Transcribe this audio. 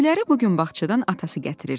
Güləri bu gün bağçadan atası gətirirdi.